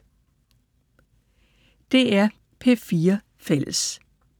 DR P4 Fælles